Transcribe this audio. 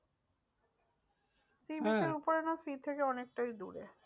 Sea beach এর ওপরে না sea থেকে অনেকটাই দূরে।